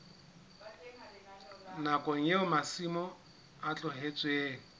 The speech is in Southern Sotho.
nakong eo masimo a tlohetsweng